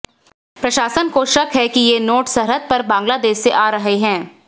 प्रशासन को शक है कि ये नोट सरहद पार बांग्लादेश से आ रहे हैं